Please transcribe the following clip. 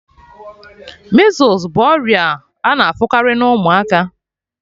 Measles bụ ọrịa a na-afụkarị na ụmụaka